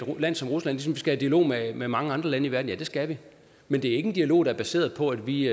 land som rusland ligesom vi skal dialog med med mange andre lande i verden ja det skal vi men det er ikke en dialog der er baseret på at vi